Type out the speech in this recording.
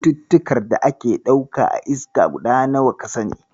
Cututtukan da ake ɗauka a iska guda nawa ka sani?